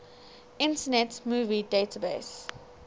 internet movie database